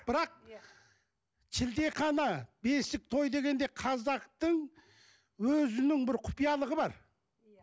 бірақ шілдехана бесік той дегенде қазақтың өзінің бір құпиялығы бар